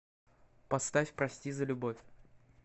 поставь прости за любовь